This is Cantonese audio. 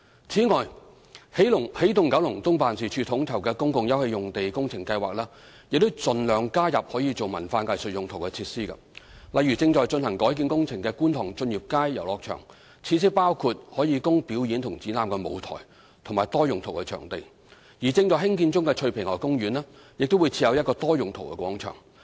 此外，起動九龍東辦事處統籌的公共休憩用地工程計劃已盡量加入可作文化藝術用途的設施，例如正進行改建工程的觀塘駿業街遊樂場，設施包括可供表演及展覽的舞台和多用途場地，而正在興建中的翠屏河公園亦將設有一個多用途廣場。